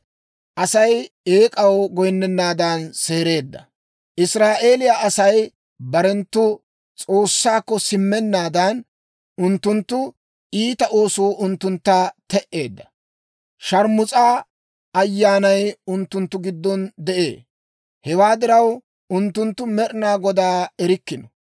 Israa'eeliyaa Asay barenttu S'oossaakko simmennaadan, unttunttu iita oosuu unttuntta te"eedda; sharmus'a ayyaanay unttunttu giddon de'ee. Hewaa diraw, unttunttu Med'inaa Godaa erikkino.